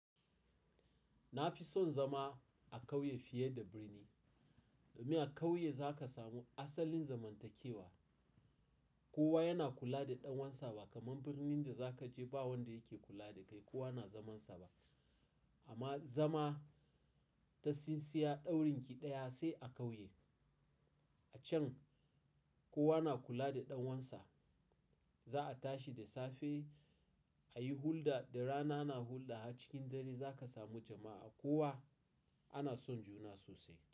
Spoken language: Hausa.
Na fi son zama a ƙauye fiye da birni. Domin a ƙauye za ka samu asalin zamantakewa. Kowa yana kula da ɗan uwansa ba kamar birnin da za ka je ba wanda yake kula da kai, kowa na zamansa ba. Amma zama ta tsintsiyar ɗaurinki ɗaya sai a ƙauye. A can kowa na kula da ɗawansa. Za a tashi da safe, a yi hulɗa da rana na hulɗa. A cikin dare za ka samu jama'a. Kowa ana son juna sosai.